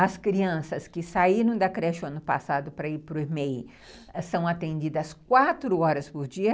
As crianças que saíram da creche no ano passado para ir para o EMEI são atendidas quatro horas por dia.